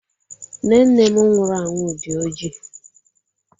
Nne nne m nwụrụ anwụ dị ọjị.